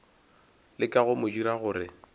leka go mo dira gore